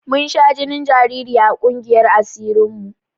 Mun sha jinin jariri a ƙungiyar asirin mu